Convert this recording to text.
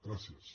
gràcies